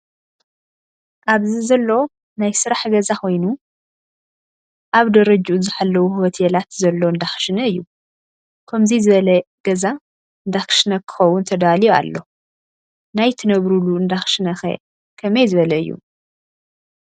ኣብዚ ዘሎ ናይ ስራሕ ገዛ ኮይኑ ኣብ ደረጅኡ ዝሓለው ሆትየላት ዘሎ እንዳክሽነ እዩ። ከምዙይ ዝበለ ገዛስ እንዳክሽነ ክከውን ተዳልዩ ኣሎ። ናይ ትነብርሉ እንዳክሽነ ከ ከመይ ዝበለ እዩ?